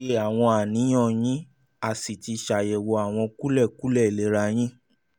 a lóye àwọn àníyàn yín a sì ti ṣàyẹ̀wò àwọn kúlẹ̀kúlẹ̀ ìlera yín